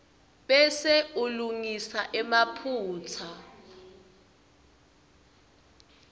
bese ulungisa emaphutsa